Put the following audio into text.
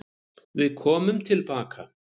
Við komum tilbaka.